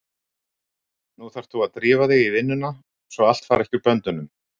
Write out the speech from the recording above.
Nú þarft þú að drífa þig í vinnuna svo allt fari ekki úr böndunum!